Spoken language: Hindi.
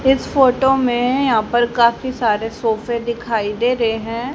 इस फोटो में यहां पर काफी सारे सोफे दिखाई दे रहे हैं।